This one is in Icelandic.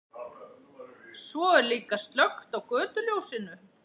Svo er líka slökkt á götuljósinu.